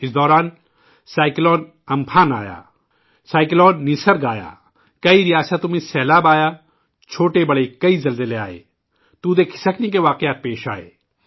اس دوران سمندری طوفان ' امفن ' اور نسرگ آیا ، کئی ریاستوں میں سیلاب آئے اور کئی چھوٹے بڑے زلزلے بھی آئے اور مٹی کے تودے کھسکنے کے واقعات بھی پیش آئے